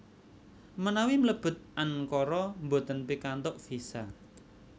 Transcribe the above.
Menawi mlebet Ankara mboten pikantuk visa